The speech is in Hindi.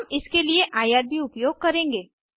हम इसके लिए आईआरबी उपयोग करेंगे